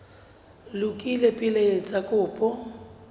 lokile pele o etsa kopo